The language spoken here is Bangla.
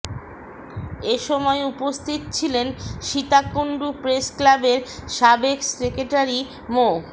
এ সময় উপস্থিত ছিলেন সীতাকুণ্ড প্রেস ক্লাবের সাবেক সেক্রেটারি মো